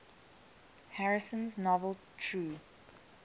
harrison's novel true